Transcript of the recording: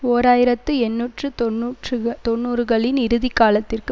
ஓர் ஆயிரத்தி எண்ணூற்று தொன்னூற்று தொன்னூறுகளின் இறுதி காலத்திற்கு